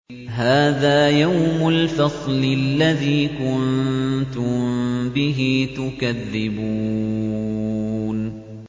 هَٰذَا يَوْمُ الْفَصْلِ الَّذِي كُنتُم بِهِ تُكَذِّبُونَ